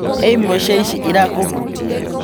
He imwe cia ici irakũhutia?